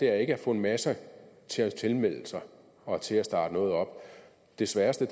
er at få en masse til at tilmelde sig og til at starte noget op det sværeste